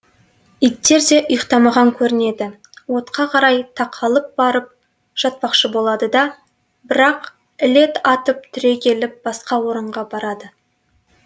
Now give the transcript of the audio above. иттер де ұйықтамаған көрінеді отқа қарай тақа лып барып жатпақшы болады да бірақ іле атып түрегеліп басқа орынға барады